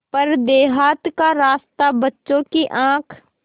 पर देहात का रास्ता बच्चों की आँख